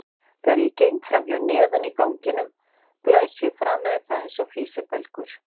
Þegar ég geng fram hjá nefinu í ganginum blæs ég framan í það einsog físibelgur.